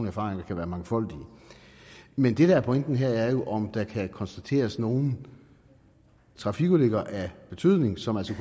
erfaringer kan være mangfoldige men det der er pointen her er jo om der kan konstateres nogle trafikulykker af betydning som altså